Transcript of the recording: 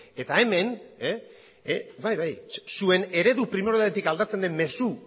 bai bai zuen eredu aldatzen den mezu